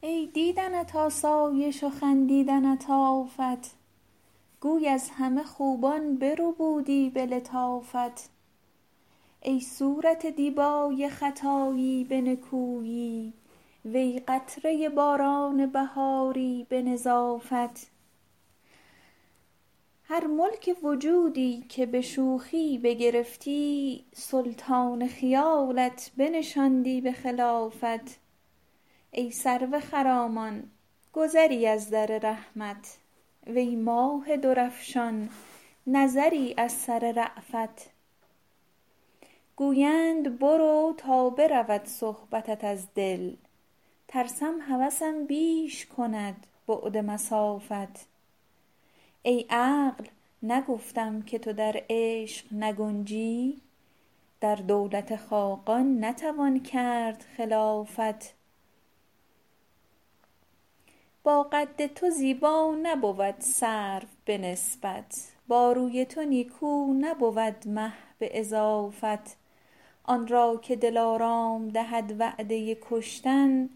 ای دیدنت آسایش و خندیدنت آفت گوی از همه خوبان بربودی به لطافت ای صورت دیبای خطایی به نکویی وی قطره باران بهاری به نظافت هر ملک وجودی که به شوخی بگرفتی سلطان خیالت بنشاندی به خلافت ای سرو خرامان گذری از در رحمت وی ماه درفشان نظری از سر رأفت گویند برو تا برود صحبتت از دل ترسم هوسم بیش کند بعد مسافت ای عقل نگفتم که تو در عشق نگنجی در دولت خاقان نتوان کرد خلافت با قد تو زیبا نبود سرو به نسبت با روی تو نیکو نبود مه به اضافت آن را که دلارام دهد وعده کشتن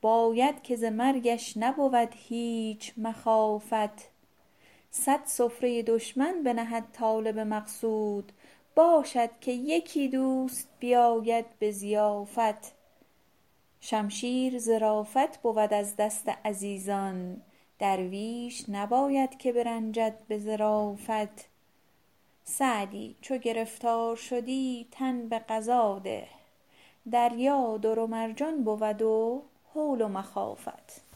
باید که ز مرگش نبود هیچ مخافت صد سفره دشمن بنهد طالب مقصود باشد که یکی دوست بیاید به ضیافت شمشیر ظرافت بود از دست عزیزان درویش نباید که برنجد به ظرافت سعدی چو گرفتار شدی تن به قضا ده دریا در و مرجان بود و هول و مخافت